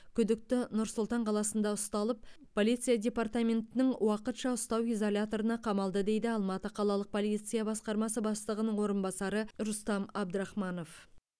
күдікті нұр сұлтан қаласында ұсталып полиция департаментінің уақытша ұстау изоляторына қамалды дейді алматы қалалық полиция басқармасы бастығының орынбасары рустам әбдірахманов